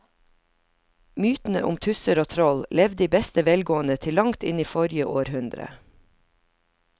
Mytene om tusser og troll levde i beste velgående til langt inn i forrige århundre.